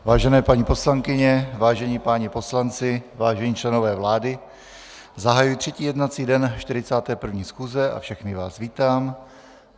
Vážené paní poslankyně, vážení páni poslanci, vážení členové vlády, zahajuji třetí jednací den 41. schůze a všechny vás vítám.